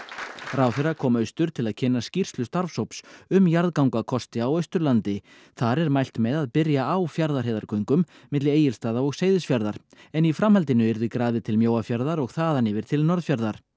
ráðherra kom austur til að kynna skýrslu starfshóps um jarðgangakosti á Austurlandi þar er mælt með að byrja á Fjarðarheiðargöngum milli Egilsstaða og Seyðisfjarðar en í framhaldinu yrði grafið til Mjóafjarðar og þaðan yfir til Norðfjarðar